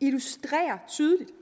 illustrerer tydeligt